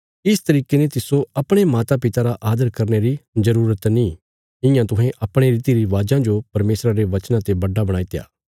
इस तरिके ने तिस्सो अपणे मातापिता रा आदर करने री जरूरत नीं इयां तुहें अपणे रीतिरिवाजां जो परमेशरा रे वचना ते बड्डा बणाईत्या